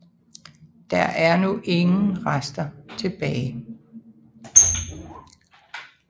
Der er nu ingen rester tilbage